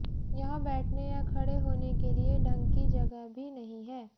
यहां बैठने या खड़े हाेने के लिए ढंग की जगह भी नहीं है